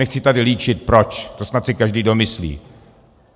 Nechci tady líčit proč, to si snad každý domyslí.